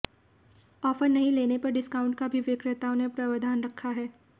offer नहीं लेने पर डिस्काउंट का भी विक्रेताओं ने प्रावधान रखा है